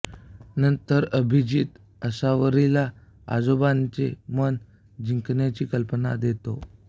नंतर अभिजित आसावरीला आजोबाचे मन जिंकण्याची कल्पना देतो